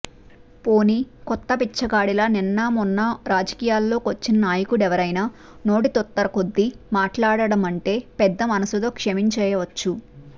పోనీ కొత్త బిచ్చగాడిలా నిన్నామొన్న రాజకీయాల్లోకొచ్చిన నాయకుడెవరయినా నోటితుత్తరకొద్దీ మాట్లాడాడంటే పెద్ద మనసుతో క్షమించేయొచ్చు